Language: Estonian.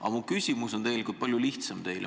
Aga mu küsimus on tegelikult palju lihtsam.